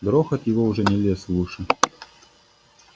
грохот его уже не лез в уши